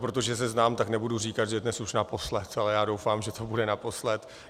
Protože se znám, tak nebudu říkat, že dnes už naposledy, ale já doufám, že to bude naposledy.